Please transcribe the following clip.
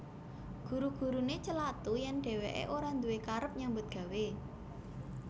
Guru guruné celathu yèn dhèwèké ora nduwé karep nyambut gawé